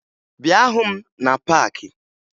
Bịa hụ m na paakị!